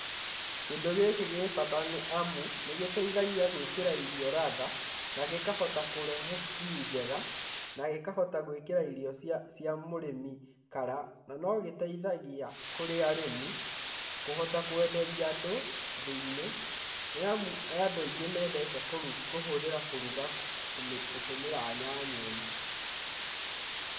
Kĩndũ gĩkĩ gĩ bata, nĩ amu nĩ gĩteithagia gwĩkĩra irio ladha na gĩkahota kũrehe stew njega, na gĩkahota gwĩkĩra irio cia mũrĩmi colour. Na no gĩteithagia kũrĩ arĩmi kũhota kwenderia andũ, nĩ amu nĩ andũ aingĩ mendete kũhũthĩra kũruga gũtũmĩra nyanya ĩno.